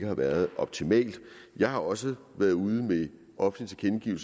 har været optimalt jeg har også været ude med offentlige